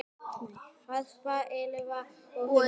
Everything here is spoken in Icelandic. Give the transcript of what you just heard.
Harpa, Elfa og Hulda.